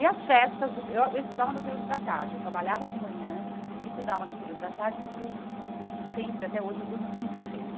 E as festas do, eu estudava no período da tarde, eu trabalhava de manhã e estudava no período da tarde, porque eu putz eu sempre, até hoje, eu durmo muito cedo.